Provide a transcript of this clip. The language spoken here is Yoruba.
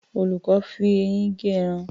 Olùkọ́ fi eyín gé ẹran.